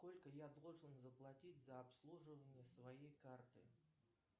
сколько я должен заплатить за обслуживание своей карты